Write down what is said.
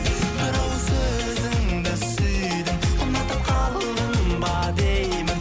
бір ауыз сөзіңді сүйдім ұнатып қалдым ба деймін